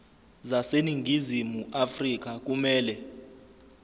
zaseningizimu afrika kumele